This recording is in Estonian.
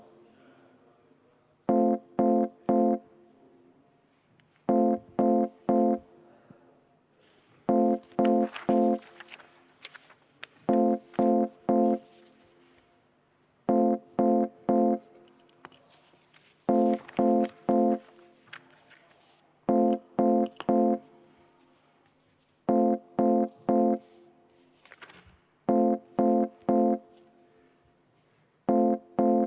Kas võime minna hääletuse juurde?